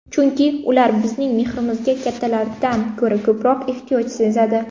Chunki ular bizning mehrimizga kattalardan ko‘ra ko‘proq ehtiyoj sezadi.